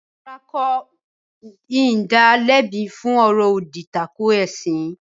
Rárá, mi kò ní da lẹ́bi fún “ ọ̀rọ̀-òdì tako ẹ̀sìn ”.